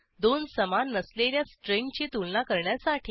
दोन समान नसलेल्या स्ट्रिंगची तुलना करण्यासाठी